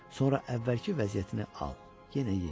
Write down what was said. Sonra əvvəlki vəziyyətini al, yenə ye.